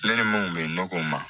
Ne ni mun bɛ nɔgɔ ma